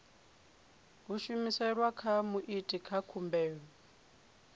humiselwa kha muiti wa khumbelo